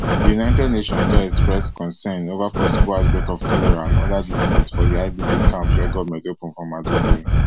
di united nations don express concern over possible outbreak of cholera and oda diseases for di idp camps wey goment open for maiduguri